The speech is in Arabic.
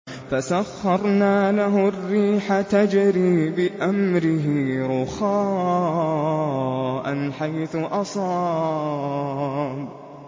فَسَخَّرْنَا لَهُ الرِّيحَ تَجْرِي بِأَمْرِهِ رُخَاءً حَيْثُ أَصَابَ